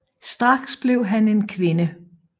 Straks blev han til en kvinde